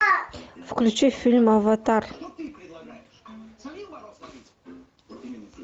включи фильм аватар